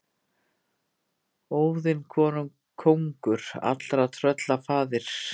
Óðinn kóngur allra trölla faðir.